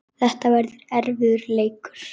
Þetta verður erfiður leikur.